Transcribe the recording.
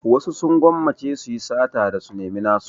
Wasu sun gwammace su yi sata da su nemi nasu.